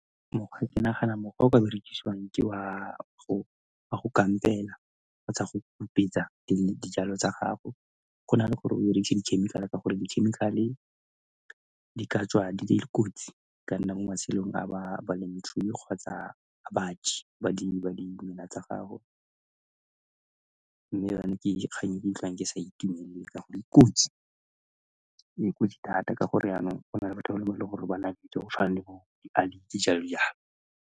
ke nagana mokgwa o ka berekisiwang ke wa go kampela kgotsa go hupetsa dijalo tsa gago. Go na le gore o berekise dikhemikhale ka gore dikhemikhale di ka tswa di le kotsi ka nna mo matshelong a balemirui kgotsa ba di dimela tsa gago mme yanong ke kgang e ke ikutlwang ke sa itumelele ka gore e kotsi ya ko di data ka gore yanong go naya, thata ka gore yanong go na le batho ba ba nang le kitso go tshwana le bo .